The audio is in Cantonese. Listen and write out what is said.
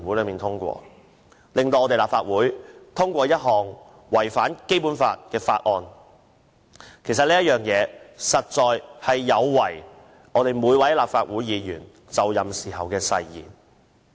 最後，立法會如通過這項違反《基本法》的《條例草案》，實有違每位立法會議員就任時的誓言。